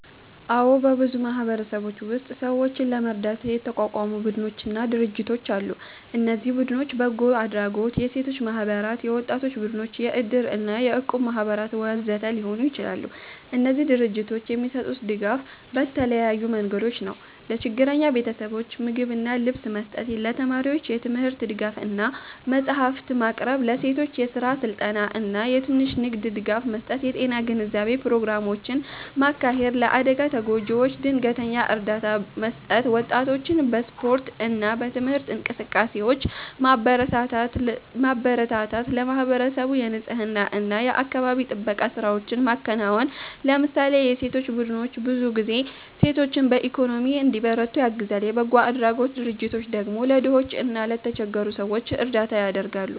አዎ፣ በብዙ ማህበረሰቦች ውስጥ ሰዎችን ለመርዳት የተቋቋሙ ቡድኖችና ድርጅቶች አሉ። እነዚህ ቡድኖች በጎ አድራጎት፣ የሴቶች ማህበራት፣ የወጣቶች ቡድኖች፣ የእድር እና የእቁብ ማህበራት ወዘተ ሊሆኑ ይችላሉ። እነዚህ ድርጅቶች የሚሰጡት ድጋፍ በተለያዩ መንገዶች ነው፦ ለችግረኛ ቤተሰቦች ምግብና ልብስ መስጠት ለተማሪዎች የትምህርት ድጋፍ እና መጽሐፍት ማቅረብ ለሴቶች የስራ ስልጠና እና የትንሽ ንግድ ድጋፍ መስጠት የጤና ግንዛቤ ፕሮግራሞችን ማካሄድ ለአደጋ ተጎጂዎች ድንገተኛ እርዳታ መስጠት ወጣቶችን በስፖርት እና በትምህርት እንቅስቃሴዎች ማበረታታት ለማህበረሰቡ የንፅህና እና የአካባቢ ጥበቃ ስራዎችን ማከናወን ለምሳሌ የሴቶች ቡድኖች ብዙ ጊዜ ሴቶችን በኢኮኖሚ እንዲበረቱ ያግዛሉ፣ የበጎ አድራጎት ድርጅቶች ደግሞ ለድሆች እና ለተቸገሩ ሰዎች እርዳታ ያደርጋሉ።